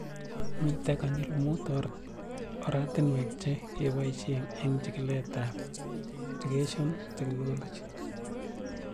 Mito konyil mut oratinwek che kepoishe eng' chikilet ab EdTech